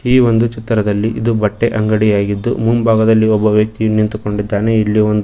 ಈ ಒಂದು ಚಿತ್ರದಲ್ಲಿ ಇದು ಬಟ್ಟೆ ಅಂಗಡಿಯಾಗಿದ್ದು ಮುಂಭಾಗದಲ್ಲಿ ಒಬ್ಬ ವ್ಯಕ್ತಿ ನಿಂತುಕೊಂಡಿದ್ದಾನೆ ಇಲ್ಲಿ ಒಂದು--